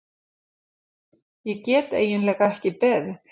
Ég get eiginlega ekki beðið.